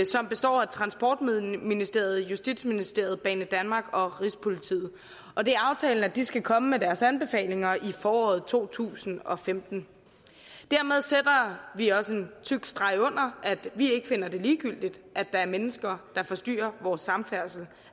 som består af transportministeriet justitsministeriet banedanmark og rigspolitiet og det er aftalen at de skal komme med deres anbefalinger i foråret to tusind og femten dermed sætter vi også en tyk streg under at vi ikke finder det ligegyldigt at der er mennesker der forstyrrer vores samfærdsel